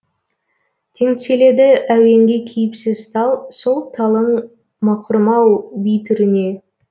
теңселеді әуенге кейіпсіз тал сол талың мақұрым ау би түріне